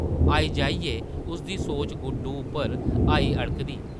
आई-जाइयै उसदी सोच गुड्डो उप्पर आई अड़कदी ।